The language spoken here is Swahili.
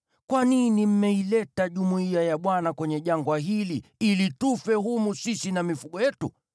Kwa nini mmeileta jumuiya ya Bwana kwenye jangwa hili, ili tufe humu, sisi na mifugo yetu?